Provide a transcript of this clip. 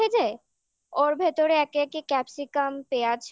তেলে ভেজে ওর ভেতরে একে একে capsicum পেঁয়াজ